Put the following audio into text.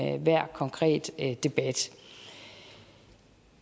enhver konkret debat